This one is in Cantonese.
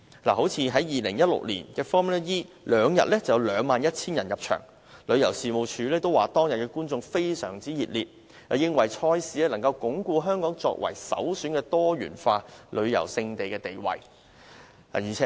以2016年的 Formula E 錦標賽為例，兩天已有 21,000 人入場，旅遊事務署也說觀眾反應非常熱烈，認為賽事能鞏固香港作為首選的多元化旅遊勝地的地位。